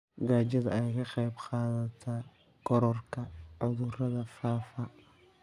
Gaajada ayaa ka qayb qaadata kororka cudurrada faafa.